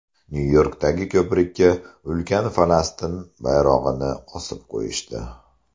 Nyu-Yorkdagi ko‘prikka ulkan Falastin bayrog‘ini osib qo‘yishdi.